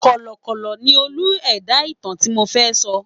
Kọ̀lọ̀kọ̀kọ̀ ni Olú ẹ̀dá ìtàn àlọ́ tí mo fẹ́ pa.